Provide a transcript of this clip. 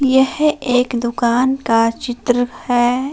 यह एक दुकान का चित्र है।